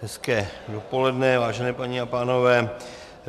Hezké dopoledne, vážené paní a pánové.